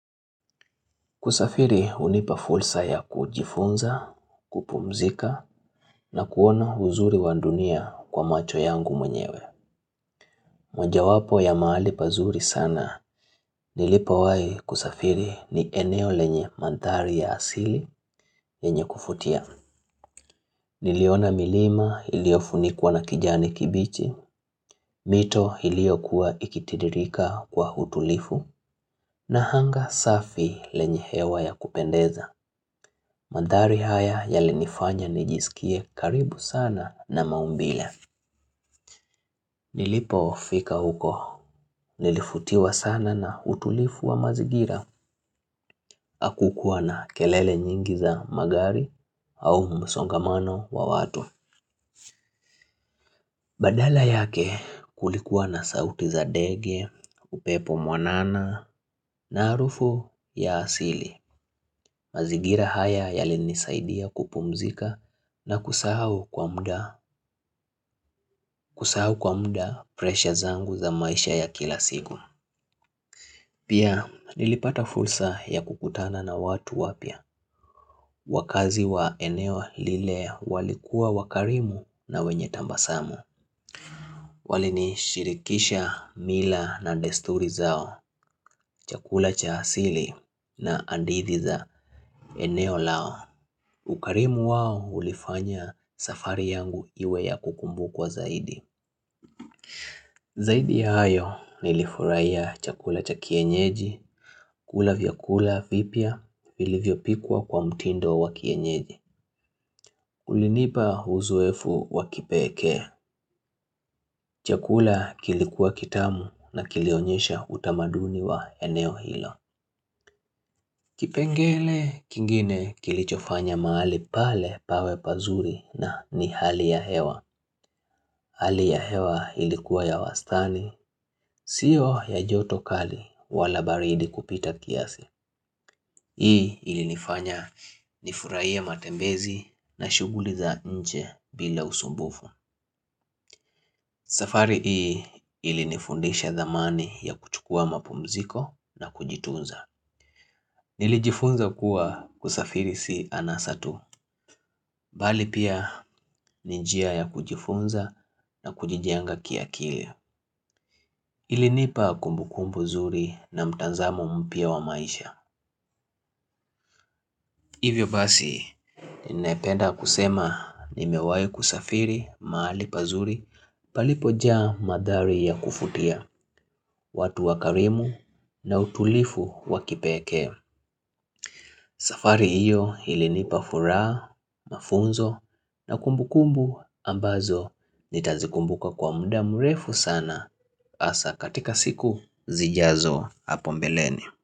Kusafiri hunipa fursa ya kujifunza, kupumzika na kuona uzuri wa ndunia kwa macho yangu mwenyewe. Mojawapo ya mahali pazuri sana nilipowahi kusafiri ni eneo lenye mandhari ya asili yenye kuvutia. Niliona milima iliyofunikwa na kijani kibichi, mito iliyokuwa ikititirika kwa hutulifu na hanga safi lenye hewa ya kupendeza. Mandhari haya yalinifanya nijisikie karibu sana na maumbile. Nilipofika huko nilifutiwa sana na utulifu wa mazingira. Hakukuwa na kelele nyingi za magari au msongamano wa watu. Badala yake kulikuwa na sauti za ndege, upepo mwanana na harufu ya asili. Mazingira haya yalinisaidia kupumzika na kusahu kwa muda. Kusahau kwa muda presha zangu za maisha ya kila siku. Pia nilipata fursa ya kukutana na watu wapya. Wakazi wa eneo lile walikuwa wakarimu na wenye tabasamu. Walinishirikisha mila na desturi zao. Chakula cha asili na hadithi za eneo lao ukarimu wao ulifanya safari yangu iwe ya kukumbukwa zaidi. Zaidi ya hayo nilifurahia chakula cha kienyeji, kula vyakula vipya vilivyopikwa kwa mtindo wa kienyeji. Ulinipa uzoefu wa kipekee. Chakula kilikuwa kitamu na kilionyesha utamaduni wa eneo hilo. Kipengele kingine kilichofanya mahali pale pawe pazuri na ni hali ya hewa. Hali ya hewa ilikuwa ya wastani, siyo ya joto kali wala baridi kupita kiasi. Hii ilinifanya nifurahie ya matembezi na shughuli za nje bila usumbufu. Safari hii ilinifundisha dhamani ya kuchukua mapumziko na kujitunza. Nilijifunza kuwa kusafirisi si anasa tu, bali pia ni njia ya kujifunza na kujijenga kiakili. Ilinipa kumbu kumbu zuri na mtazamo mpya wa maisha. Hivyo basi ninapenda kusema nimewahi kusafiri mahali pazuri palipojaa madhari ya kufutia, watu wakarimu na utulifu wa kipekee. Safari hiyo ilinipa furaha, mafunzo na kumbu kumbu ambazo nitazikumbuka kwa muda mrefu sana hasa katika siku zijazo hapo mbeleni.